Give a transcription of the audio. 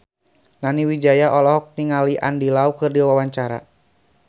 Nani Wijaya olohok ningali Andy Lau keur diwawancara